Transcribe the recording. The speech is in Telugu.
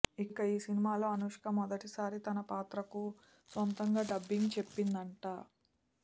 ఇక ఈ సినిమాలో అనుష్క మొదటిసారి తన పాత్రకు సొంతంగా డబ్బింగ్ చెప్పిందట